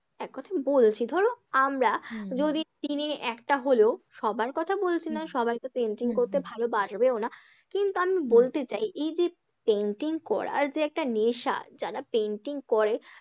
এক কথায় বলছি ধরো আমরা যদি দিনে একটা হলেও সবার কথা বলছি না, সবাই তো painting করতে ভালো পারবেও না, কিন্তু আমি বলতে চাই এই যে painting করার যে একটা নেশা, যারা painting করে,